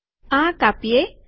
આ કાપીએ